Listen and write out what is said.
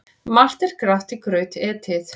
Margt er grátt í graut etið.